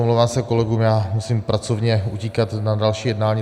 Omlouvám se kolegům, já musím pracovně utíkat na další jednání.